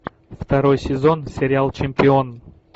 второй сезон сериал чемпион